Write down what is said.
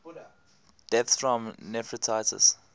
deaths from nephritis